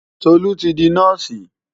Tolú ti di nọ́ọ̀sì.